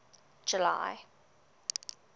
july